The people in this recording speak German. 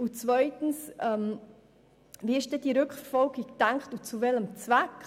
Zweitens: Wie ist diese Rückverfolgung gedacht und zu welchem Zweck?